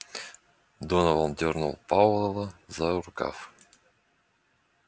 донован дёрнул пауэлла за рукав